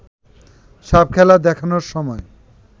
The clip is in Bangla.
সাপখেলা দেখানোর সময়